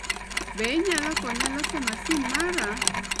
Be inyalo konya loso masin mara?